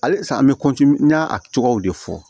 Halisa an bɛ n y'a cogow de fɔ